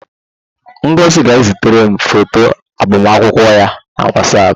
Ngozi ga-ezitere m foto agbamakwụkwọ ya na Whatsapp